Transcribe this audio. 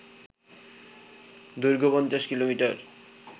দৈর্ঘ্য ৫০ কিমি